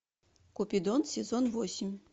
купидон сезон восемь